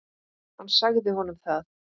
Hann sagði honum það.